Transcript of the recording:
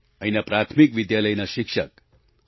અહીંના પ્રાથમિક વિદ્યાલયના શિક્ષક પી